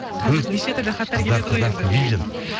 қазір нешетүрлі хаттар келеді ғой